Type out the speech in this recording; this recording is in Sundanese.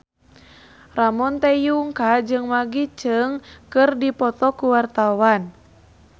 Ramon T. Yungka jeung Maggie Cheung keur dipoto ku wartawan